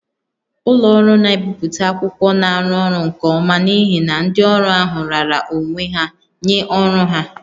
Ụlọ ọrụ na-ebipụta akwụkwọ na-arụ ọrụ nke ọma n'ihi na ndị ọrụ ahụ raara onwe ha nye ọrụ ha